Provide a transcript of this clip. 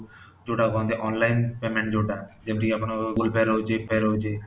ଯୋଉଟା କହନ୍ତି online payment ଯୋଉଟା ଯେମିତି କି ଆପଣ google pay ରହୁଛି phone pay ରହୁଛି